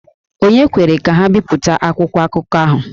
Ònye kwere ka ha bipụta akwụkwọ akụkọ ahụ?